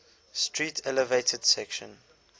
street elevated section